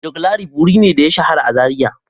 Joclarif wuri ne da ya shahara a Zariya.